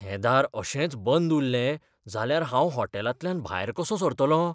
हें दार अशेंच बंद उरलें जाल्यार हांव हॉटेलांतल्यान भायर कसों सरतलों?